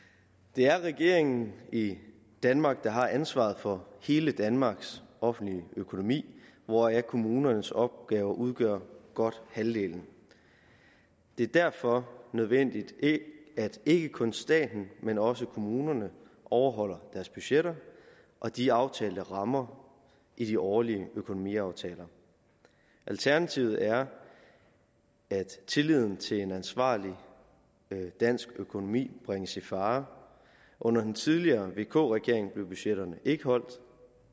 det er regeringen i danmark der har ansvaret for hele danmarks offentlige økonomi hvoraf kommunernes opgave udgør godt halvdelen det er derfor nødvendigt at ikke kun staten men også kommunerne overholder deres budgetter og de aftalte rammer i de årlige økonomiaftaler alternativet er at tilliden til en ansvarlig dansk økonomi bringes i fare under den tidligere vk regering blev budgetterne ikke holdt